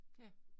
Ja